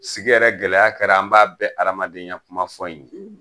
Sigi gɛlɛya kɛra an b'a bɛ adamadenyaya kuma fɔ in ye!